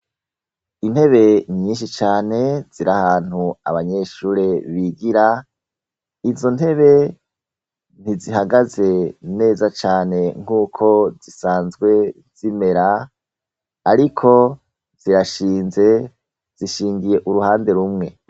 intebe nyinshi cane zirahantu abanyeshure bigira izo ntebe ntizihagaze neza cane nk'uko zisanzwe zimera ariko zirashinze zishingiye uruhande rumwe